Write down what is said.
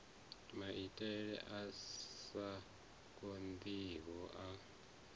maitele a sa konḓiho a